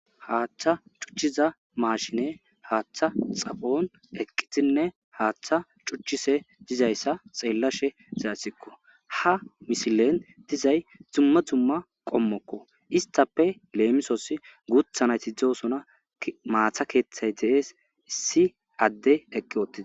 Haaththa cuchchiza maashine haaththa xaphon eqqitinne haaththa cuchise dizayssa xeellashe zaassikko ha mishilen dizay tumma tumma qommokko istappe leemisos guuthanayti dzoosona maatha keeththay deees issi adde eqqi oottia